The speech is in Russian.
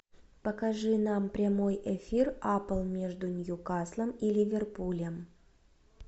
покажи нам прямой эфир апл между ньюкаслом и ливерпулем